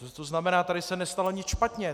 To znamená, tady se nestalo nic špatně.